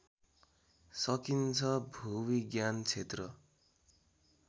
सकिन्छ भूविज्ञान क्षेत्र